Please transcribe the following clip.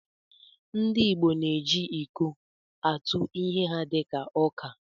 Ndị igbo na-eji iko atụ ihe ha dị ka ọka